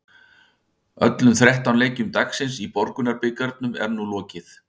Öllum þrettán leikjum dagsins í Borgunarbikarnum er nú lokið.